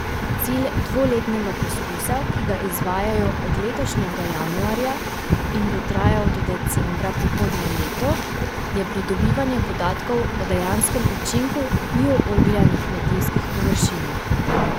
Cilj dvoletnega poskusa, ki ga izvajajo od letošnjega januarja in bo trajal do decembra prihodnje leto, je pridobivanje podatkov o dejanskem učinku bio oglja na kmetijskih površinah.